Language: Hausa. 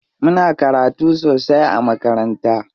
Muna karatu sosai a makaranta.